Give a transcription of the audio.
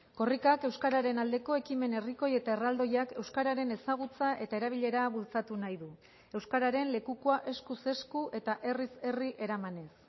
korrikak euskararen aldeko ekimen herrikoi eta erraldoiak euskararen ezagutza eta erabilera bultzatu nahi du euskararen lekukoa eskuz esku eta herriz herri eramanez